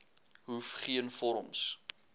hoef geen vorms